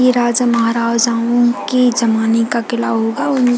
ये राजा महाराजाओ की जमाने का किला होगा उनके--